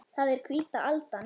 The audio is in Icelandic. Það er hvíta aldan.